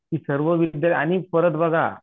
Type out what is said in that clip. की सर्व आणि परत बघा